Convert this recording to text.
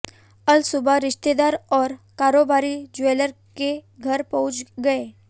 अलसुबह रिश्तेदार और कारोबारी ज्वेलर के घर पहुंच गए